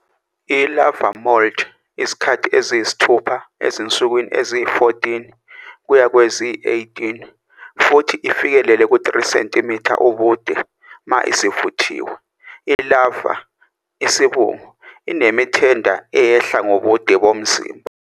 I-larvae moult izikhathi eziyisithupha ezinsukwini eziyi-14 kuya kweziyi-18 futhi ifikelele ku-3 cm ubude uma isivuthiwe. I-larvae, isibungu, inemithenda eyehla ngobude bomzimba.